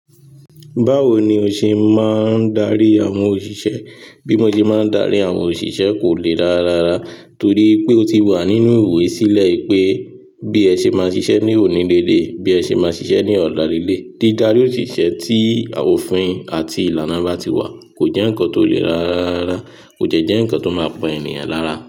Báwo ni o ṣe máa ń darí àwọn òṣìṣẹ́? Bímọ jẹ máa ń darí àwọn òṣìṣẹ́ kò le rárarárá torí pé ó ti wà nínú ìwoyi sílẹ̀ wipé bí ẹ ṣe máa ṣiṣẹ́ ní òní lé lẹ́yi, bí ẹ ṣe máa ṣiṣẹ́ ní ọ̀la lé lẹ́. Dídarí òṣìṣẹ́ tí awon òfin àti ìlànà bá ti wà kò jẹ́ nǹkan tó le rára rárá, kó dejẹ́ ńkan tó máa pa ènìyàn lára.